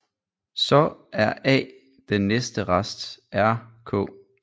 Så er a den næste rest r k